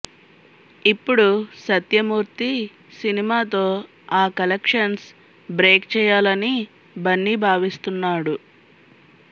ఇప్పుడు సత్యమూర్తి సినిమాతో ఆ కలెక్షన్స్ బ్రేక్ చేయాలనీ బన్నీ భావిస్తున్నాడు